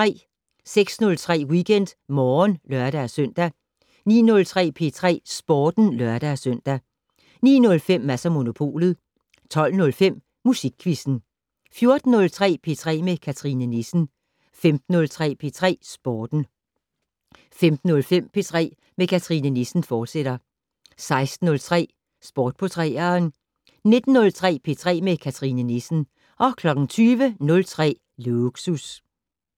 06:03: WeekendMorgen (lør-søn) 09:03: P3 Sporten (lør-søn) 09:05: Mads & Monopolet 12:05: Musikquizzen 14:03: P3 med Cathrine Nissen 15:03: P3 Sporten 15:05: P3 med Cathrine Nissen, fortsat 16:03: Sport på 3'eren 19:03: P3 med Cathrine Nissen 20:03: Lågsus